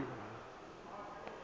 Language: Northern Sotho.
o ba yo a phetšego